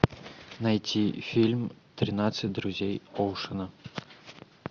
найти фильм тринадцать друзей оушена